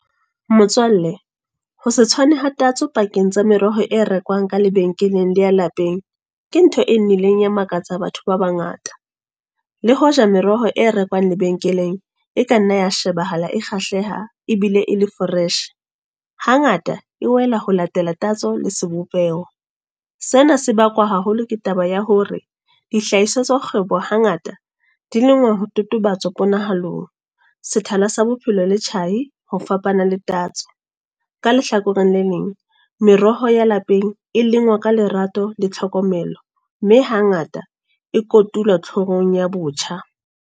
Motswalle. Ho se tshwane ha tatso pakeng tsa meroho e rekwang ka lebenkeleng le ya lapeng. Ke ntho e nnileng ya makatsa batho ba bangata. Le hoja meroho e rekwang lebenkeleng, e ka nna ya shebahala e kgahleha, ebile e le fresh. Hangata e wela ho latela tatso le sebopeho. Sena se bakwa haholo ke taba ya hore, dihlahiswa tsa kgwebo ha ngata di lengwa ho totobatsa ponahalong. Sethala sa bophelo le tjhai ho fapana le tatso. Ka lehlakoreng le leng, meroho ya lapeng, e leng wa ka lerato le tlhokomelo. Mme hangata, e kotula tlhohong ya botjha.